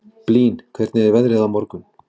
Blín, hvernig er veðrið á morgun?